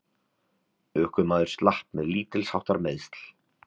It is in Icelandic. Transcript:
Ökumaður slapp með lítilsháttar meiðsl